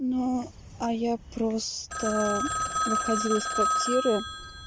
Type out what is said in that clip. но а я просто выходила из квартиры